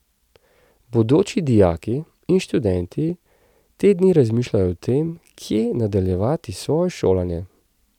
Bodoči dijaki in študenti te dni razmišljajo o tem, kje nadaljevati svoje šolanje.